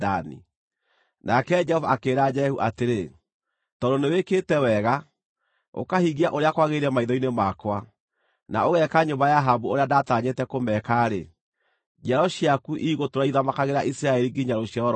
Nake Jehova akĩĩra Jehu atĩrĩ, “Tondũ nĩwĩkĩte wega, ũkahingia ũrĩa kwagĩrĩire maitho-inĩ makwa, na ũgeeka nyũmba ya Ahabu ũrĩa ndaatanyĩte kũmeka-rĩ, njiaro ciaku igũtũũra ithamakagĩra Isiraeli nginya rũciaro rwa kana.”